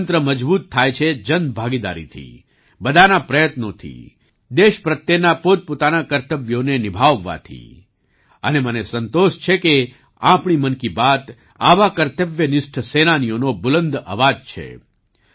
ગણતંત્ર મજબૂત થાય છે જનભાગીદારીથી બધાના પ્રયત્નોથી દેશ પ્રત્યેના પોતપોતાના કર્તવ્યોને નિભાવવાથી અને મને સંતોષ છે કે આપણી મન કી બાત આવા કર્તવ્યનિષ્ઠ સેનાનીઓનો બુલંદ અવાજ છે